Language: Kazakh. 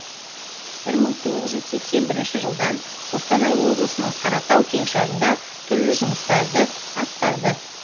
бір мың тоғыз жүз сексен бірінші жылдан қостанай облысының қаратал кеңшарында түрлі жұмыстарды атқарды